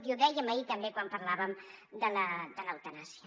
i ho dèiem ahir també quan parlàvem de l’eutanàsia